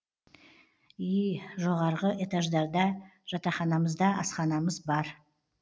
ии жоғарғы этаждарда жатақханамызда асханамыз бар